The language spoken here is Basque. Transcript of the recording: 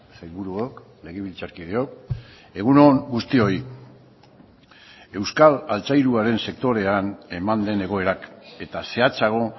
sailburuok legebiltzarkideok egun on guztioi euskal altzairuaren sektorean eman den egoerak eta zehatzago